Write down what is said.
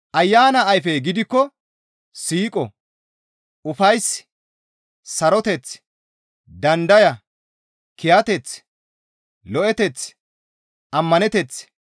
Ayana ayfey gidikko siiqo, ufays, saroteth, dandaya, kiyateth, lo7eteth, ammaneteth,